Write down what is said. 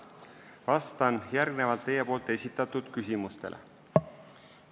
Vastan järgnevalt teie esitatud küsimustele.